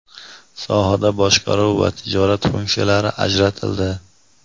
sohada boshqaruv va tijorat funksiyalari ajratildi.